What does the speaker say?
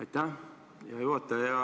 Aitäh, hea juhataja!